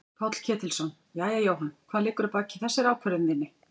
Páll Ketilsson: Jæja Jóhann hvað liggur að baki þessari ákvörðun þinni?